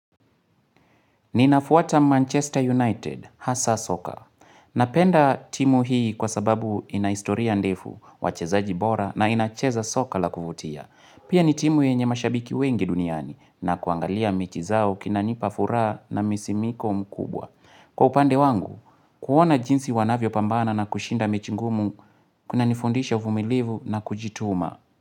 Ninafuata Manchester United, hasa soka. Napenda timu hii kwa sababu inahistoria ndefu, wachezaji bora na inacheza soka la kuvutia. Pia ni timu yenye mashabiki wengi duniani na kuangalia mechi zao kunanipa furaha na msisimko mkubwa. Kwa upande wangu, kuona jinsi wanavyo pambana na kushinda mechi ngumu, kunanifundisha uvumilivu na kujituma.